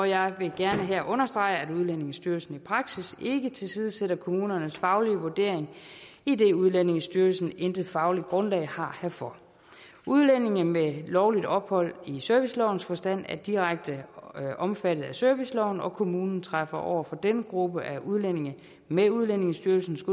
jeg vil gerne her understrege at udlændingestyrelsen i praksis ikke tilsidesætter kommunernes faglige vurdering idet udlændingestyrelsen intet fagligt grundlag har herfor udlændinge med lovligt ophold i servicelovens forstand er direkte omfattet af serviceloven og kommunen træffer over for denne gruppe af udlændinge med udlændingestyrelsens